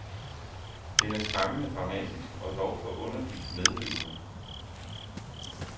Den er skræmmende dramatisk og dog forunderligt medrivende.